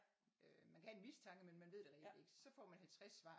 Øh man kan have en mistanke men man ved det reelt ikke. Så får man 50 svar